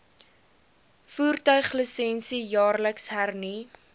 voertuiglisensie jaarliks hernu